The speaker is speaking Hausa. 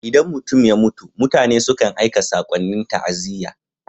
Idan mutum ya mutu, mutane sukan aika sakonnin ta'aziyya.